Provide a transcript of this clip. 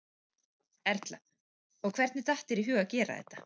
Erla: Og hvernig datt þér í hug að gera þetta?